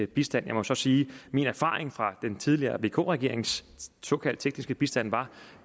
bistand jeg må så sige at min erfaring fra den tidligere vk regerings såkaldt tekniske bistand